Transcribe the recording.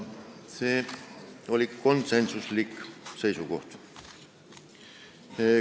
See oli konsensuslik seisukoht.